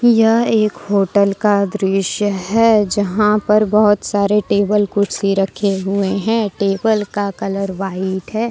यह एक होटल का दृश्य है जहां पर बहुत सारे टेबल कुर्सी रखे हुए हैं टेबल का कलर व्हाइट है।